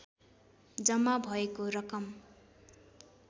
जम्मा भएको रकम